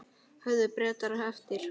Höfðu Bretar eftir